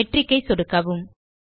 matric ஐ சொடுக்கவும்